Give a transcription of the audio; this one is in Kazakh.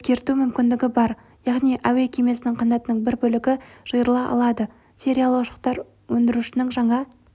өзгерту мүмкіндігі бар яғни әуе кемесінің қанатының бір бөлігі жиырыла алады сериялы ұшақтар өндірушінің жаңа